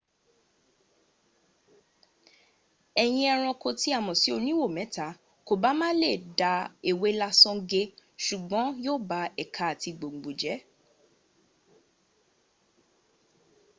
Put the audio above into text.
eyín ẹranko tí a mọ̀ sí oníwo mẹta kòbá má lè da ewé lásán gé ṣùgbọ́n yóò ba ẹ̀ka àti gbòngbò jẹ